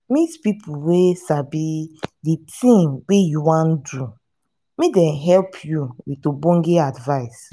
meet pipo wey sabi the thing wey you wan do make dem help you with ogbonge advice